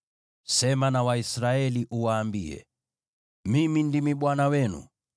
“Sema na Waisraeli uwaambie: ‘Mimi ndimi Bwana Mungu wenu.